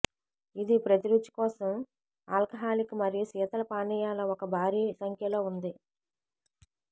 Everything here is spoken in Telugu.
ఇది ప్రతి రుచి కోసం ఆల్కహాలిక్ మరియు శీతల పానీయాల ఒక భారీ సంఖ్యలో ఉంది